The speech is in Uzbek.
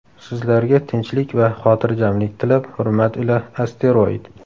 Sizlarga tinchlik va xotirjamlik tilab hurmat ila asteroid.